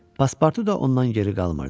Paspartu da ondan geri qalmırdı.